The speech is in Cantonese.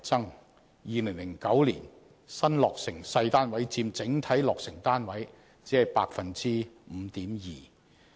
在2009年，新落成細單位佔整體落成單位僅 5.2%。